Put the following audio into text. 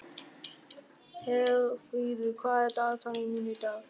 Herfríður, hvað er í dagatalinu mínu í dag?